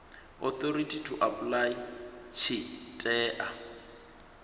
authority to apply tshi tea